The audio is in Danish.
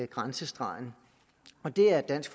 grænsestregen og det er dansk